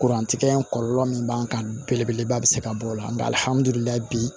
Kurantigɛ in kɔlɔlɔ min b'an kan belebeleba bɛ se ka bɔ o la nka alihamudulilayi bi